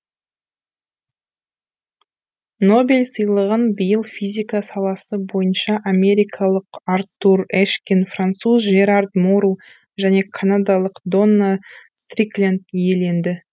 нобель сыйлығын биыл физика саласы бойынша америкалық артур эшкин француз жерар мору және канадалық донна стрикленд иеленді